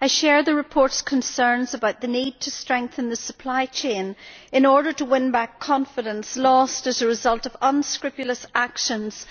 I share the report's concerns about the need to strengthen the supply chain in order to win back confidence lost as a result of unscrupulous actions